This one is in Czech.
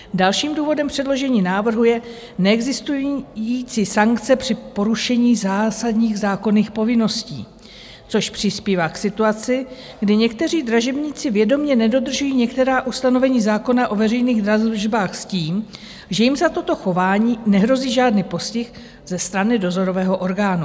Dalším důvodem předložení návrhu je neexistující sankce při porušení zásadních zákonných povinností, což přispívá k situaci, kdy někteří dražebníci vědomě nedodržují některá ustanovení zákona o veřejných dražbách s tím, že jim za toto chování nehrozí žádný postih ze strany dozorového orgánu.